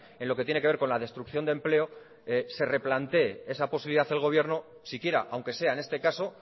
en lo que tiene que ver con la destrucción de empleo se replantee esa posibilidad el gobierno siquiera aunque sea en este caso